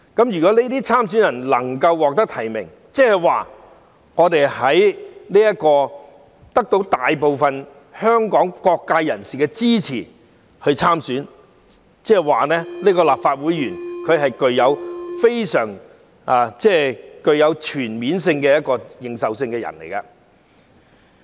如果這些參選人能夠獲得提名，即得到大部分香港各界人士支持，那麼，日後這些立法會議員就具有全面認受性。